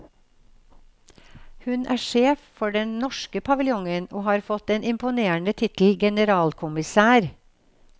Hun er sjef for den norske paviljongen, og har fått den imponerende tittel generalkommissær.